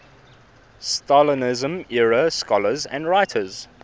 stalinism era scholars and writers